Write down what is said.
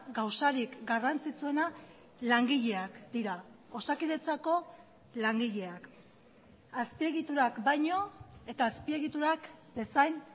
gauzarik garrantzitsuena langileak dira osakidetzako langileak azpiegiturak baino eta azpiegiturak bezain